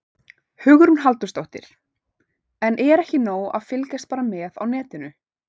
Hugrún Halldórsdóttir: En er ekki nóg að fylgjast bara með á netinu?